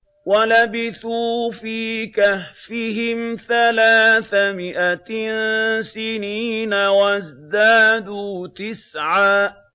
وَلَبِثُوا فِي كَهْفِهِمْ ثَلَاثَ مِائَةٍ سِنِينَ وَازْدَادُوا تِسْعًا